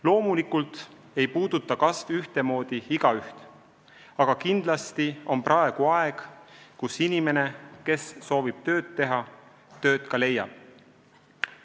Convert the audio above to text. Loomulikult ei puuduta kasv ühtemoodi igaüht, aga kindlasti on praegu aeg, kus inimene, kes soovib tööd teha, tööd ka leiab.